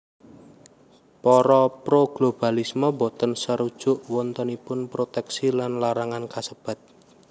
Para pro globalisme boten sarujuk wontenipun protèksi lan larangan kasebat